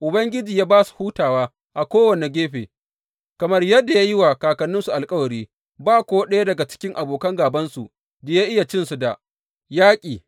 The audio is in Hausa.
Ubangiji ya ba su hutawa a kowane gefe kamar yadda ya yi wa kakanninsu alkawari, ba ko ɗaya daga cikin abokan gābansu da ya iya cinsu da yaƙi.